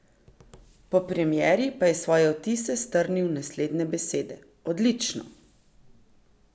Po premieri pa je svoje vtise strnil v naslednje besede: 'Odlično!